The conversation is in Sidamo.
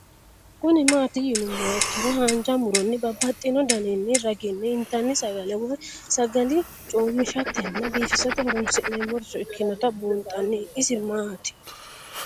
Kuni mati yinumoha ikiro hanja muroni babaxino daninina ragini intani sagale woyi sagali comishatenna bifisate horonsine'morich ikinota bunxana isi maat?